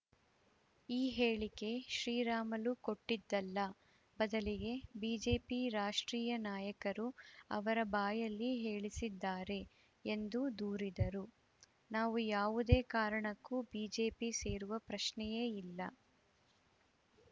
ಈ ಹೇಳಿಕೆ ಶ್ರೀರಾಮುಲು ಕೊಟ್ಟಿದ್ದಲ್ಲ ಬದಲಿಗೆ ಬಿಜೆಪಿ ರಾಷ್ಟ್ರೀಯ ನಾಯಕರು ಅವರ ಬಾಯಲ್ಲಿ ಹೇಳಿಸಿದ್ದಾರೆ ಎಂದು ದೂರಿದರು ನಾವು ಯಾವುದೇ ಕಾರಣಕ್ಕೂ ಬಿಜೆಪಿ ಸೇರುವ ಪ್ರಶ್ನೆಯೇ ಇಲ್ಲ